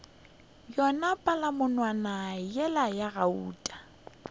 yona palamonwana yela ya gauta